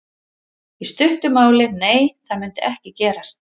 Í stuttu máli: Nei það myndi ekki gerast.